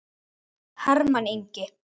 Hermann Ingi.